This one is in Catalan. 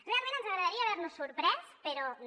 realment ens agradaria haver nos sorprès però no